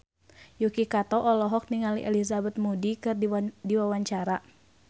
Yuki Kato olohok ningali Elizabeth Moody keur diwawancara